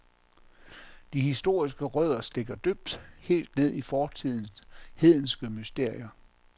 De historiske rødder stikker dybt, helt ned i fortidens hedenske mysterier.